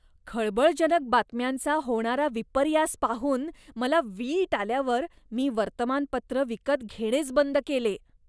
खळबळजनक बातम्यांचा होणारा विपर्यास पाहून मला वीट आल्यावर मी वर्तमानपत्र विकत घेणेच बंद केले.